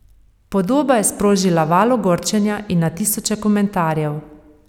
Podoba je sprožila val ogorčenja in na tisoče komentarjev.